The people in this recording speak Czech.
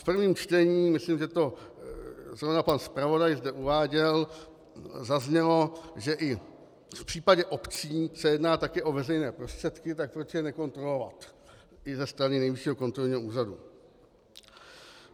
V prvním čtení, myslím, že to zrovna pan zpravodaj zde uváděl, zaznělo, že i v případě obcí se jedná také o veřejné prostředky, tak proč je nekontrolovat i ze strany Nejvyššího kontrolního úřadu.